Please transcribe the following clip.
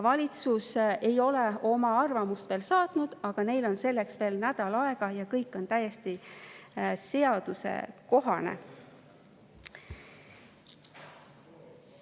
Valitsus ei ole küll oma arvamust saatnud, aga neil on selleks veel nädal aega ja kõik on täiesti seadusekohane.